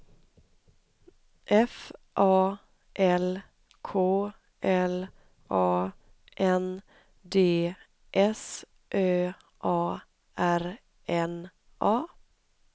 F A L K L A N D S Ö A R N A